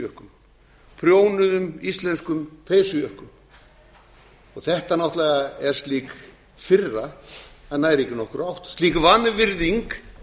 peysujökkum prjónuðum íslenskum peysujökkum þetta náttúrlega er slík firra að það nær ekki nokkurri átt slík vanvirðing